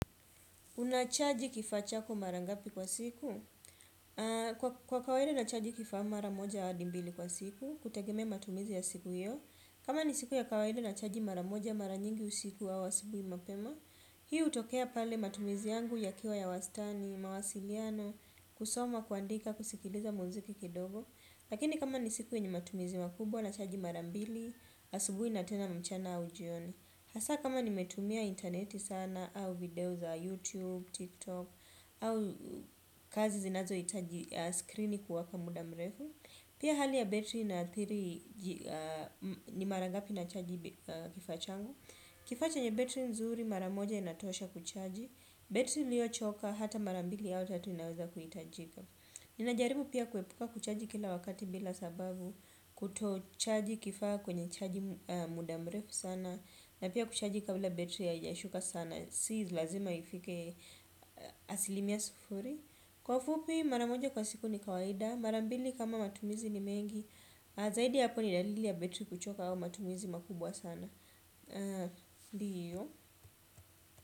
Unachaji kifaa chako mara ngapi kwa siku? Kwa kaawida nachaji kifaa mara moja hadi mbili kwa siku, kutegemea matumizi ya siku hiyo. Kama ni siku ya kawaida nachaji maramoja mara nyingi usiku au asubuhi mapema, hii hutokea pale matumizi yangu yakiwa ya wastani, mawasiliano, kusoma, kuandika, kusikiliza muziki kidogo. Lakini kama ni siku yenye matumizi makubwa, nachaji marambili, asubuhi na tena mchana au jioni. Hasa kama nimetumia internet sana, au video za YouTube, TikTok, au kazi zinazo itaji screen kuwaka mudamrefu. Pia hali ya betri inaathiri ni marangapi na chaji kifaa changu. Kifaa chenye battery nzuri mara moja inatosha kuchaji. Betri liyo choka hata marambili au tatu inaweza kuhitajika. Ninajaribu pia kuepuka kuchaji kila wakati bila sababu kuto chaji kifaa kwenye chaji mudamrefu sana. Na pia kuchaji kabila betri haijashuka sana. Si lazima ifike asilimia sufuri. Kwa ufupi maramoja kwa siku ni kawaida. Marambili kama matumizi ni mengi. Zaidi ya hapo ni dalili ya betri kuchoka au matumizi makubwa sana ndiyo.